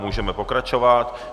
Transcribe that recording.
Můžeme pokračovat.